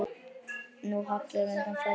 Nú hallar undan fæti.